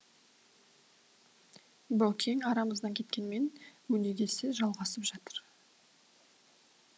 баукең арамыздан кеткенмен өнегесі жалғасып жатыр